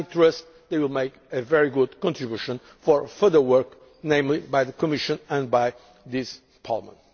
background. I trust it will make a very good contribution for further work by the Commission and by this